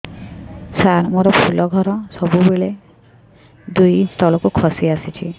ସାର ମୋର ଫୁଲ ଘର ସବୁ ବେଳେ ଦୁଇ ଇଞ୍ଚ ତଳକୁ ଖସି ଆସିଛି